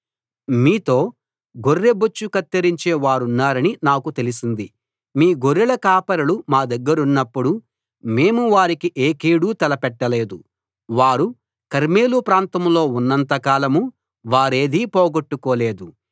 మీతో గొర్రెబొచ్చు కత్తిరించే వారున్నారని నాకు తెలిసింది మీ గొర్రెల కాపరులు మా దగ్గరున్నప్పుడు మేము వారికి ఏ కీడూ తలపెట్టలేదు వారు కర్మెలు ప్రాంతంలో ఉన్నంతకాలం వారేదీ పోగొట్టుకోలేదు